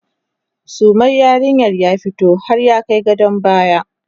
sumar yarinyar ya fito har ya Kai gadon baya